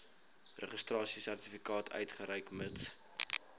registrasiesertifikaat uitreik mits